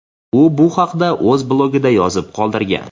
U bu haqda o‘z blogida yozib qoldirgan.